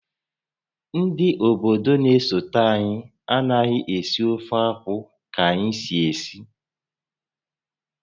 Ndị obodo na-esote anyị anaghị esi ofeakwụ ka anyị si esi